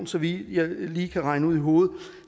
så vidt jeg lige kan regne ud i hovedet